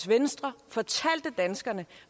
mennesker